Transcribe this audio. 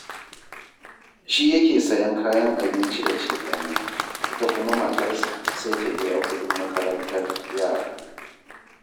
Shi yake sayen kayan abinci da cefane, ita kuma matarsa sai ta biya kuɗin makarantar yara